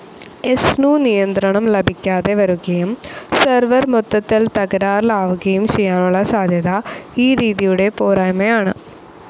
എസ്സ്നു നിയന്ത്രണം ലഭിക്കാതെ വരുകയും സെർവർ മൊത്തത്തിൽ തകരാറിലാവുകയും ചെയ്യാനുള്ള സാധ്യത ഈ രീതിയുടെ പോരായ്മയാണ്.